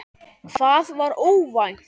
Hvað var óvænt?